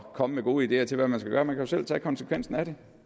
komme med gode ideer til hvad man skal gøre man kan jo selv tage konsekvensen af det